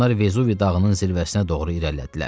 Onlar Vezuvi dağının zirvəsinə doğru irəlilədilər.